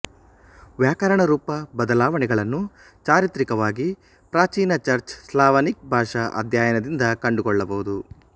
ವ್ಯಾಕರಣರೂಪ ಬದಲಾವಣೆಗಳನ್ನು ಚಾರಿತ್ರಿಕವಾಗಿ ಪ್ರಾಚೀನ ಚರ್ಚ್ ಸ್ಲಾವನಿಕ್ ಭಾಷಾ ಅಧ್ಯಯನದಿಂದ ಕಂಡುಕೊಳ್ಳಬಹುದು